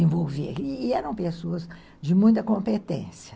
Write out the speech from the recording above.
E eram pessoas de muita competência.